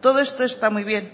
todo esto está muy bien